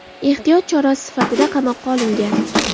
Ehtiyot chorasi sifatida qamoqqa olingan.